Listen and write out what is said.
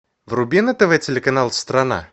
вруби на тв телеканал страна